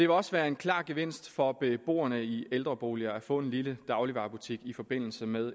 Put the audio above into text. også være en klar gevinst for beboerne i ældreboliger at få en lille dagligvarebutik i forbindelse med